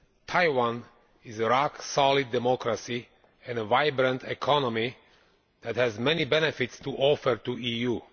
Taiwan is a rock solid democracy and a vibrant economy that has many benefits to offer to the EU.